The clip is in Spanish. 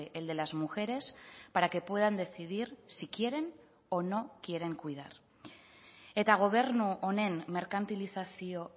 el de las mujeres para que puedan decidir si quieren o no quieren cuidar eta gobernu honen merkantilizazio